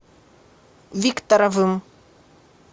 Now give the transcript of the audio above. викторовым